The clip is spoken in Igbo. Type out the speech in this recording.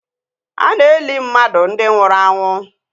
Ana eli mmadụ ndi nwụrụ anwụ